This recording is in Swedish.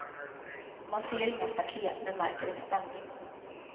Man ser inga staket men märker en spänning.